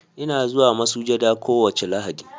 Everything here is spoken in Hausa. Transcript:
Ina zuwa masujada kowace Lahadi.